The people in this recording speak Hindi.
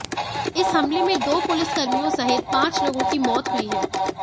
इस हमले में दो पुलिसकर्मियों सहित पांच लोगों की मौत हुई है